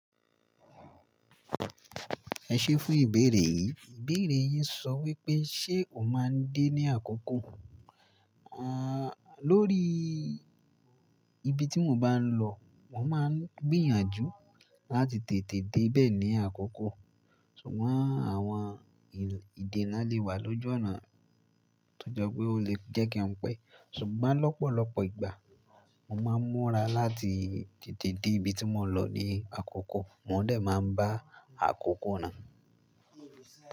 Ẹ ṣé fún ìbéèrè yìí. Ìbéèrè yìí sọ wípé ṣé o máa ń dé ní àkókò? Aaa, lórí ibi tí mo bá ń lọ, mo máa ń gbìyànjú láti tètè dé bẹ́ẹ̀ ní àkókò, ṣùgbọ́n àwọn ìdènà lè wà lójú ọ̀nà tó jọ pé ó lè jẹ́ kí wọ́n pẹ́. Ṣùgbọ́n lọ́pọ̀lọpọ̀ ìgbà mo máa ń múra láti tètè dé ibi tí mo lọ ní àkókò, mo dẹ̀ máa ń bá àkókò náà.